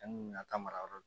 An kun ka taa mara yɔrɔ